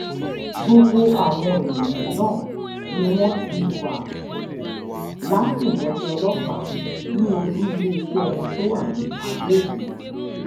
gbogbo àwọn èèyàn náà ni wọ́n ti wà látìmọ́lé ọlọ́pàá ní olú iléeṣẹ́ wọn tó wà ní adó-èkìtì